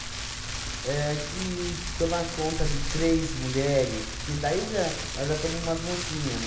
É que tomar conta de três mulheres... Que daí já... Nós já estamos umas mocinha, né?